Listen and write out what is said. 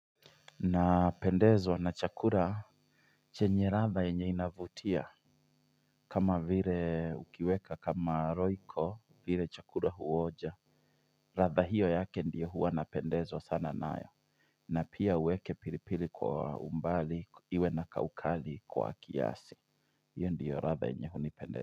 Na pendezwa na chakura chenye ratha yenye inavutia kama vire ukiweka kama roiko vire chakura huoja ratha hiyo yake ndiyo huwa napendezwa sana nayo na pia uweke pilipili kwa umbali iwe na kaukali kwa kiasi hiyo ndiyo ratha yenye hunipendeza.